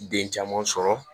Den caman sɔrɔ